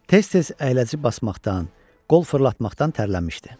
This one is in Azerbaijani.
Tez-tez əyləci basmaqdan, qol fırlatmaqdan tərlənmişdi.